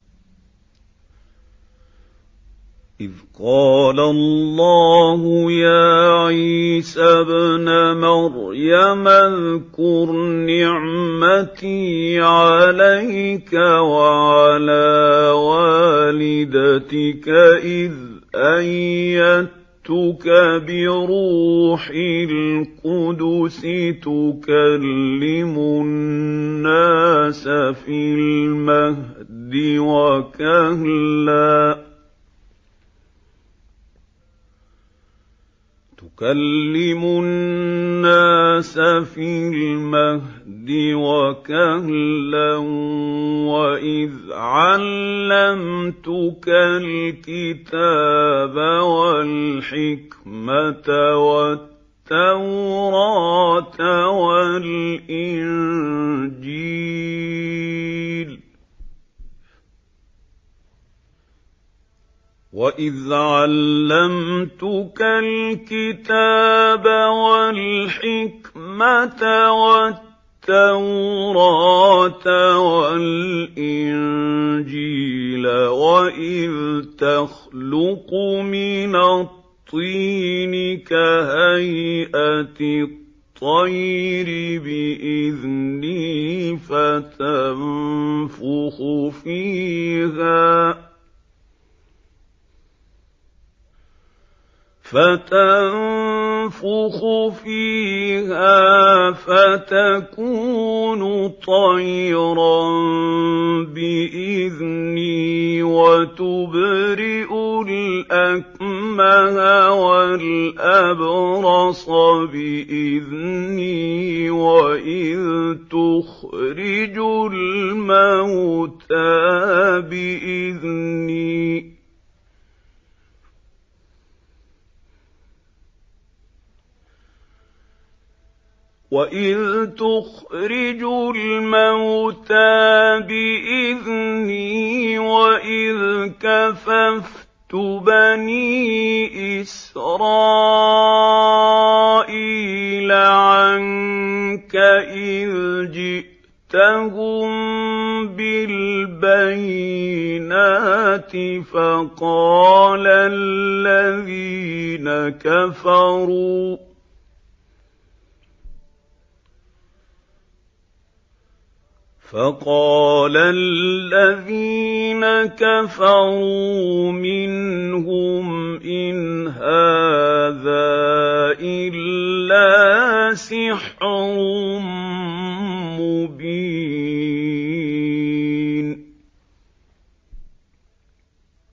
إِذْ قَالَ اللَّهُ يَا عِيسَى ابْنَ مَرْيَمَ اذْكُرْ نِعْمَتِي عَلَيْكَ وَعَلَىٰ وَالِدَتِكَ إِذْ أَيَّدتُّكَ بِرُوحِ الْقُدُسِ تُكَلِّمُ النَّاسَ فِي الْمَهْدِ وَكَهْلًا ۖ وَإِذْ عَلَّمْتُكَ الْكِتَابَ وَالْحِكْمَةَ وَالتَّوْرَاةَ وَالْإِنجِيلَ ۖ وَإِذْ تَخْلُقُ مِنَ الطِّينِ كَهَيْئَةِ الطَّيْرِ بِإِذْنِي فَتَنفُخُ فِيهَا فَتَكُونُ طَيْرًا بِإِذْنِي ۖ وَتُبْرِئُ الْأَكْمَهَ وَالْأَبْرَصَ بِإِذْنِي ۖ وَإِذْ تُخْرِجُ الْمَوْتَىٰ بِإِذْنِي ۖ وَإِذْ كَفَفْتُ بَنِي إِسْرَائِيلَ عَنكَ إِذْ جِئْتَهُم بِالْبَيِّنَاتِ فَقَالَ الَّذِينَ كَفَرُوا مِنْهُمْ إِنْ هَٰذَا إِلَّا سِحْرٌ مُّبِينٌ